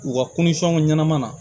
U ka ɲɛnama na